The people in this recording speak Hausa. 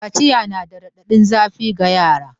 Kaciya na da raɗaɗin zafiga yara.